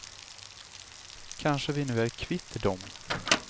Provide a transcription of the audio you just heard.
Kanske vi nu är kvitt dem.